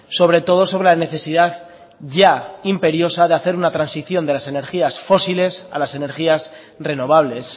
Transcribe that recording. sobre todo sobre la necesidad ya imperiosa de hacer una transición de las energías fósiles a las energías renovables